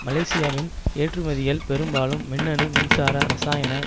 மலேசியாவின் ஏற்றுமதிகள் பெரும்பாலும் மின்னணு மின்சார இரசாயன